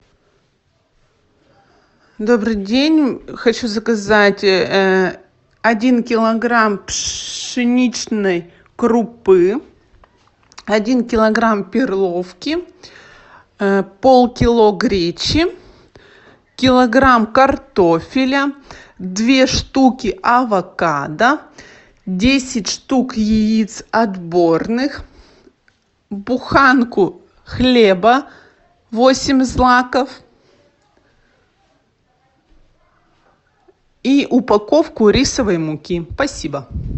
добрый день хочу заказать один килограмм пшеничной крупы один килограмм перловки полкило гречи килограмм картофеля две штуки авокадо десять штук яиц отборных буханку хлеба восемь злаков и упаковку рисовой муки спасибо